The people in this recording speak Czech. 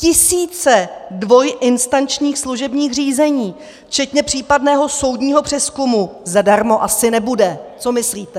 Tisíce dvojinstančních služebních řízení včetně případného soudního přezkumu zadarmo asi nebude, co myslíte?